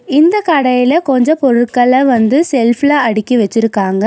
இந்த கடையில கொஞ்ஜோ பொருட்கள வந்து செல்ஃப்ல அடுக்கி வச்சிருக்காங்க.